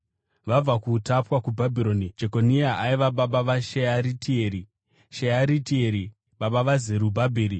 Vabva kuutapwa kuBhabhironi: Jekonia aiva baba vaShearitieri, Shearitieri baba vaZerubhabheri,